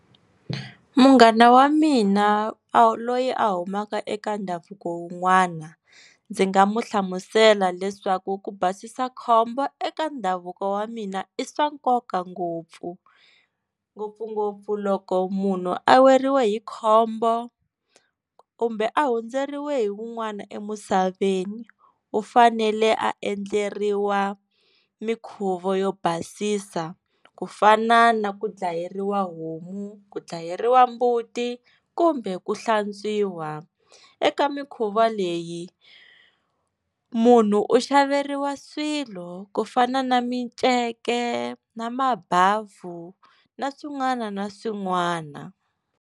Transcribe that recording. Munghana wa mina a loyi a humaka eka ndhavuko wun'wana ndzi nga mu hlamusela leswaku ku basisa khombo eka ndhavuko wa mina i swa nkoka ngopfu ngopfungopfu loko munhu a weriwa hi khombo kumbe a hundzeriwe hi wun'wani emusaveni u fanele a endleriwa minkhuvo yo basisa ku fana na ku dlayeriwa homu, ku dlayeriwa mbuti kumbe ku hlantswiwa eka mikhuva leyi munhu u xaveriwa swilo ku fana na miceke na mabhavhu na swin'wana na swin'wana.